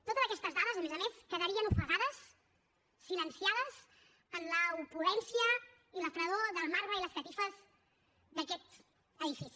totes aquestes dades a més a més quedarien ofegades silenciades en l’opulència i la fredor del marbre i les catifes d’aquest edifici